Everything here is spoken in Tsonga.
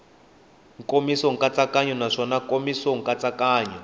nkomiso nkatsakanyo naswona nkomiso nkatsakanyo